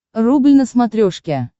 рубль на смотрешке